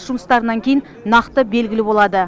жұмыстарынан кейін нақты белгілі болады